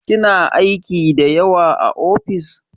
Kina aiki da yawa a ofis?